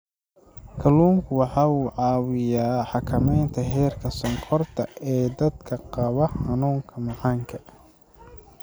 Kalluunku waxa uu caawiyaa xakamaynta heerka sonkorta ee dadka qaba xanuunka macaanka.